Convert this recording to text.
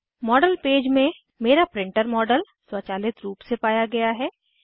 model page में मेरा printer model स्वचालित रूप से पाया गया है